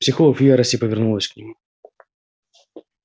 психолог в ярости повернулась к нему